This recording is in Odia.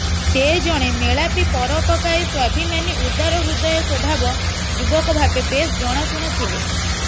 ସେ ଜଣେ ମେଳାପି ପରୋପକାରୀ ସ୍ୱାଭିମାନୀ ଉଦାର ହୃଦୟ ସ୍ବଭାବ ଯୁବକ ଭାବେ ବେଶ୍ ଜଣାସୁଣା ଥିଲେ